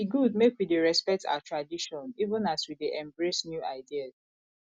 e good make we dey respect our tradition even as we dey embrace new ideas